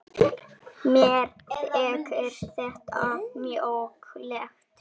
Mér þykir þetta mjög leitt.